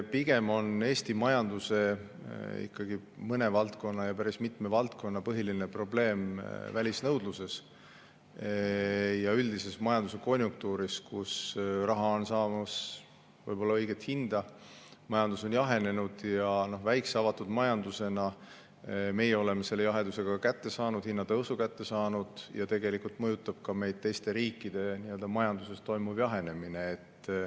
Pigem on Eesti majanduses päris mitme valdkonna põhiline probleem välisnõudluses ja üldises majanduskonjunktuuris, kus raha on võib-olla saamas õiget hinda, majandus on jahenenud ja väikese avatud majandusega riigina oleme meie selle jaheduse kätte saanud, samuti hinnatõusu, ja tegelikult mõjutab meid ka teiste riikide majanduses toimuv jahenemine.